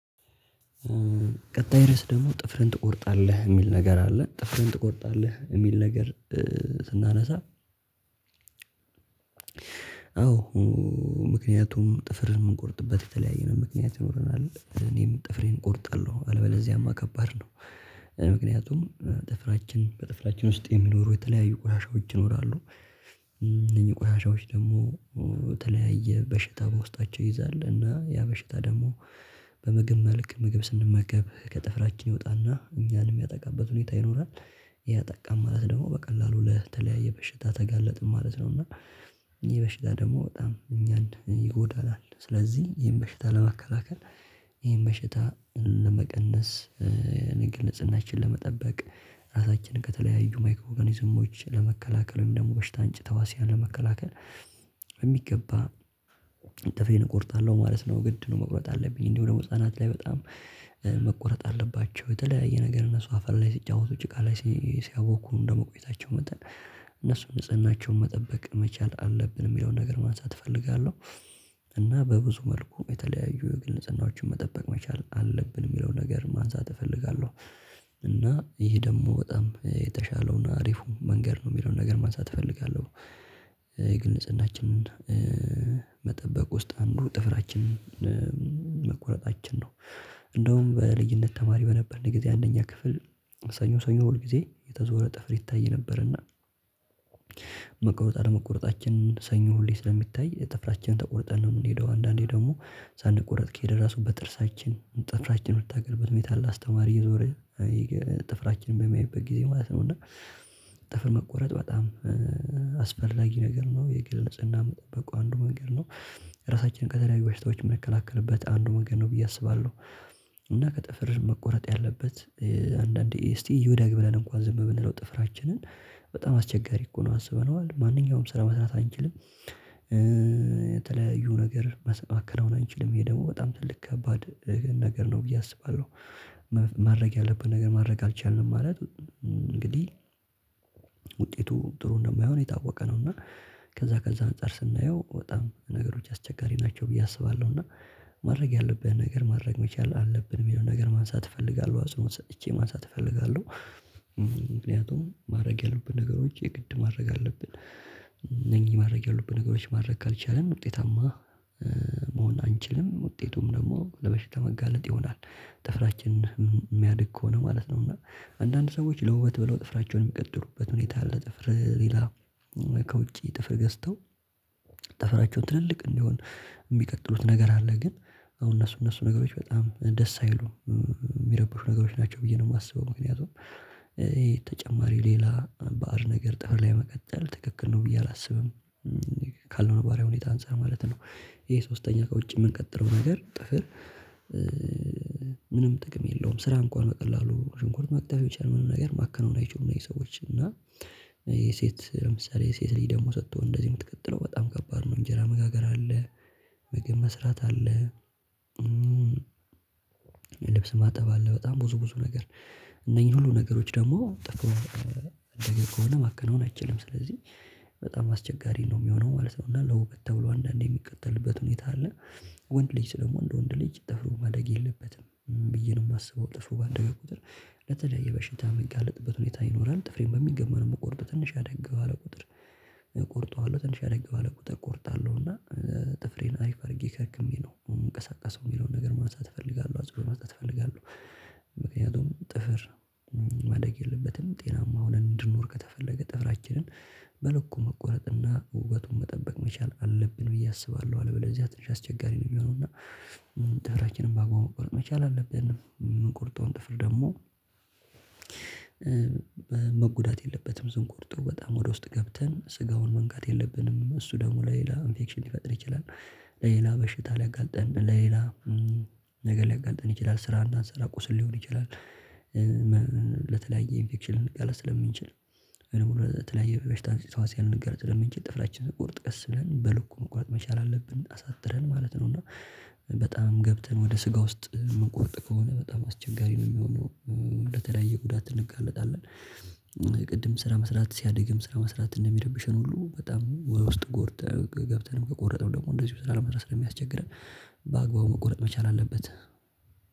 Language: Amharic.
ቀጣይ ርዕስ ደግሞ ጥፍርህን ትቆርጣለህ እሚል ነገር አለ? ጥፍርን ትቆርጣለህ እሚል ነገር እ ስናነሳ። አዎ ምክንያቱም ጥፍርን እምንቆርጥበት የተለያየ ምክንያት ይኖረናል እኔም ጥፍሬን እቆርጣለሁ አልበለዚያማ ከባድ ነው። ምክንያቱም ጥፍራችን በጥፍራችን ውስጥ የሚኖሩ የተለያዩ ቆሻሻዎች ይኖራሉ። የተለያዩ ቆሻሻዎች ደግሞ በተለያየ በሽታ በውስጣቸው ይይዛል እና ያ በሽታ ደግሞ በምግብ መልክ ምግብ ስንመገብ ከጥፍራችን ይወጣና እኛን እሚያጠቃበት ሁኔታ ይኖራል። ይሄ አጠቃን ማለት ደግሞ በቀላሉ ለተለያየ በሽታ ተጋለጥን ማለት ነው። እና ይሄ በሽታ ደግሞ በጣም እኛን ይጎዳናል። ስለዚህ ይሄን በሽታ ለማከላከል ይሄን በሽታ ለመቀነስ የግል ንጽህናችን ለመጠበቅ ራሳችንን ከተለያዩ ማይክሮ ኦርጋኒዝሞች ለመከላከል ወይም ደግሞ በሽታ እምጭ ተዋህዋሲያን መከላከል። ጥፍሬን እቆርጣለሁ ማለት ነው ግድ ነው። መቁረጥ አለብኝ እንዲሁ ህፃናጣት ላይ በጣም መቆረጥ አለባቸው የተለያየ ነገር እነሱ አፈር ላይ ሲጫወቱ ጭቃ ላይ ሲያቦኩ እንደመቆየታቸው መጠን እነሱን ንጽህናቸውን መጠበቅ መቻል አለብን እሚለውን ነገር ማንሳት እፈልጋለሁ። እና በብዙ መልኩ የተለያዩ የግል ጽናዎችን መጠበቅ መቻል አለብን እሚለውን ነገር ማንሳት እፈልጋለሁ። እና ይሄ ደግሞ በጣም የተሻለውን አሪፉ መንገድ ነው እሚለውን ነገር ማንሳት እፈልጋለሁ። የግል ንጽህናችንን ኧ መጠበቅ ውስጥ አንዱ ጥፍራችንን መቆረጣችን ነው። እንደውም በልጅነት ተማሪ በነበርን ጊዜ አንደኛ ክፍል ሰኞ ሰኞ ሁል ጊዜ እየተዞረ ጥፍር ይታይ ነበርና። መቆረጥ አለመቆረጣችን ሰኞ ሁሌ ስለሚታይ ጥፍራችንን ተቆርጠን ነው እምንሄደው አንዳንዴ ደግሞ ሳንቆረጥ ከሄድን ራሱ በጥርሳችን ጥፍራችን እምንታገልበት ሁኔታ አለ። አስተማሪ እየዞረ ጥፍራችን በሚያይበት ጊዜ ማለት ነው። እና ጥፍር መቆረጥ በጣም ኧ አስፈላጊ ነገር ነው የግል ንጽህና መጠበቁ አንዱ መንገድ ነው። ራሳችንን ከተለያዩ ባሽታዎች እምንከላከልበት አንዱ መንገድ ነው ብዬ አስባለሁ። እና ከጥፍር መቆረጥ ያለበት ኧ አንዳንዴ እስቲ ይደግ ብለን እንኳን ዝም ብንለው ጥፍራችንን በጣም አስቸጋሪ እኮ ነው አስበነዋል ማንኛውንም ስራ መስራት አንችልም። ኧ የተለያዩ ነገር ማሰ ማከናወን አንችልም ይሄ ደግሞ በጣም ትልቅ ከባድ ነገር ነው ብዬ አስባለሁ። ማድረግ ያለብን ነገር ማድረግ አልቻልንም ማለት እንግዲህ ውጤቱ ጥሩ እንደማይሆን የታወቀ ነው። እና ከዛ ከዛ አንፃር ስናየው በጣም ነገሮች አስቸጋሪ ናቸው ብዬ አስባለሁ። እና ማድረግ ያለብህን ነገር ማድረግ መቻል አለብን እሚለውን ነገር ማንሳት እፈልጋለሁ አጽንኦት ሰጥቼ ማንሳት እፈልጋለሁ። ምክንያቱም ማረግ ያሉብን ነገሮች የግድ ማድረግ አለብን። እነኚህ ማድረግ ያሉብን ነገሮች ማድረግ ካልቻልን ውጤታማ መሆን አንችልም ውጤቱም ደግሞ ለበሽታ መጋለጥ ይሆናል። ጥፍራችን እሚያድግ ከሆነ ማለት ነው እና አንዳንድ ሰዎች ለውበት ብለው ጥፍራቸውን የሚቀጥሉበት ሁኔታ አለ ጥፍር ሌላ ከውጪ ጥፍር ገዝተው ተፈራቸው ትልልቅ እንዲሆን እሚቀጥሉት ነገር አለ። ግን አሁን እነሱ እነሱ ነገሮች በጣም ደስ አይሉም እሚረብሹ ነገሮች ናቸው ብዬ ነው እማስበው ምክንያቱም ኧ ይ ተጨማሪ ሌላ ባዕድ ነገር ጥፍር ላይ መቀጠል ትክክል ነው ብዬ አላስብም። እ ካለው ነባራዊ ሁኔታ አንፃር ማለት ነው ይሄ ሶስተኛ ከውጭ እምንቀጥለው ነገር ጥፍር ኧ ምንም ጥቅም የለውም ስራ እንኳን በቀላሉ ሽንኳር መክተፍ የቻለወንም ነገር ማከናወን አይችሉም። እነኝህ ሰዎች እና የሴት ለምሳሌ የሴት ልጅ ደግሞ ስትሆን እንደዚህ እምትቀጥለው በጣም ከባድ ነው እንጀራ መጋገር አለ። ምግብ መስራት አለ። እ ልብስ ማጠብ አለ በጣም ብዙ ብዙ ነገር እነኚህ ሁሉ ነገሮች ደግሞ ጥፍሩ ያደገ ከሆነ ማከናወን አይችልም ስለዚህ በጣም አስቸጋሪ ነው እሚሆነው ማለት ነው። እና ለውበት ተብሎ አንዳንዴ እሚቀጥልበት ሁኔታ አለ። ወንድ ልጅ ደግሞ እንደ ወንድ ልጅ ጠፍሩ ማደግ የለበትም እ ብዬ ነው እማስበው ጥፍሩ ባደገ ቁጥር ለተለያየ በሽታ እሚጋለጥበት ሁኔታ ይኖራል። ጥፍሬን በሚገመን ነው እምቆርጠው ትንሽ አደግ ባለ ቁጥር እቆርጠዋለሁ ትንሽ አደግ ባለ ቁጥር እቆርጣለሁ እና ጥፍሬን አሪፍ አድርጌ ከርክሜ ነው እምንቀሳቀሰው እሚለውን ነገር ማሳት እፈልጋለሁ አጽንኦት መስጠት እፈልጋለሁ። ምክንያቱም ጥፍር ማደግ የለበትም ጤናማ ሁነን እንድንኖር ከተፈለገ ጥፍራችንን በልኩ መቆረጥና ውበቱን መጠበቅ መቻል አለብን ብዬ አስባለሁ። አለበለዚያ ትንሽ አስቸጋሪ ነው እሚሆነው እና። ጥፍራችንን በአግባቡ መቆረጥ መቻል አለብን እምንቆርጠውን ጥፍር ደግሞ መጎዳት የለበትም ስንቆርጠው በጣም ወደ ውስጥ ገብተን ስጋውን መንካት የለብንም እሱ ደግሞ ለሌላ ኢንፌክሽን ሊፈጥር ይችላል። ለሌላ በሽታ ሊያጋልጠን ለሌላ ነገር ሊያጋልጠን ይችላል ስራ እንዳንሰራ ቁስል ሊሆን ይችላል። ለተለያየ ኢንፌክሽን ልንጋለጥ ስለምንችል እንዲሁም ለተለያየ በሽታ አምጭ ተህዋሲያን ስለምንችል ጥፍራችን ስንቆርጥ ቀስ ብለን በልኩ መቁረጥ መቻል አለብን አሳጥረን ማለት ነው። እና በጣም ገብተን ወደ ስጋ ውስጥ እምንቆርጥ ከሆነ በጣም አስቸጋሪ ነው እሚሆነው እ ለተለያየ ጉዳት እንጋለጣለን። ቅድም ስራ መስራት ሲያድግም ስራ መስራት እንደሚረብሸን ሁሉ በጣም ውስጥ ጎርተን ገብተን ከቆረጥነው ደግሞ እንደዚህ ስራ ለመስራት ስለሚያስቸግረን። በአግባቡ መቆረጥ መቻል አለበት።